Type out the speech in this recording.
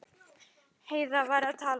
Heiða var að tala.